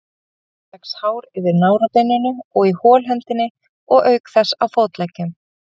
Hjá drengjum vex hár yfir nárabeininu og í holhöndinni og auk þess á fótleggjum.